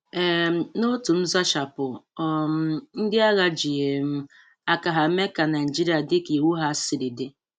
um N'otu nzachapu, um ndị agha ji um aka ha mee ka Naịjirịa dị ka iwu ha siri dị.